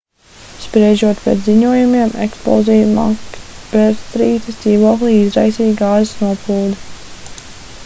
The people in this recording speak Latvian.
spriežot pēc ziņojumiem eksploziju makbetstrītas dzīvoklī izraisīja gāzes noplūde